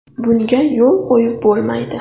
Bunga yo‘l qo‘yib bo‘lmaydi.